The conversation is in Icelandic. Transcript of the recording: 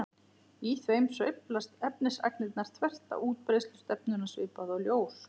Í þeim sveiflast efnisagnirnar þvert á útbreiðslustefnuna svipað og ljós.